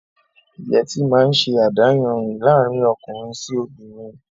Yẹtí máa ń ṣe adáyanri laarin ọkùnrin sì obìnrin